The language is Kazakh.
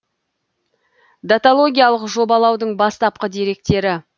даталогиялық жобалаудың бастапқы деректері